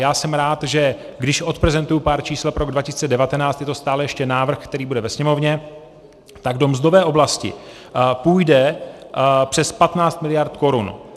Já jsem rád, že když odprezentuji pár čísel pro rok 2019, je to stále ještě návrh, který bude ve Sněmovně, tak do mzdové oblasti půjde přes 15 miliard korun.